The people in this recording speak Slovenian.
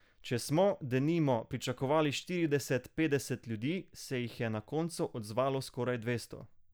Če smo, denimo, pričakovali štirideset, petdeset ljudi, se jih je na koncu odzvalo skoraj dvesto.